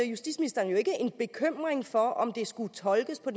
justitsminister jo ikke en bekymring for om det skulle tolkes på